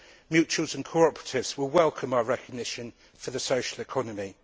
Mutuals and cooperatives will welcome our recognition for the social economy.